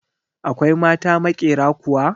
Akwai mata maƙyera kuwa?